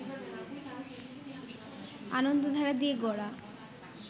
আনন্দধারা দিয়ে গড়া